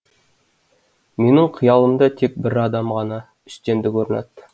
менің қиялымда тек бір адам ғана үстемдік орнатты